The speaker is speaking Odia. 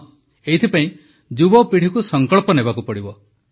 ହଁ ଏଇଥିପାଇଁ ଯୁବପିଢ଼ିକୁ ସଂକଳ୍ପ ନେବାକୁ ପଡ଼ିବ